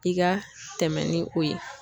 I ka tɛmɛ ni o ye.